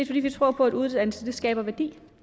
fordi vi tror på at uddannelse skaber værdi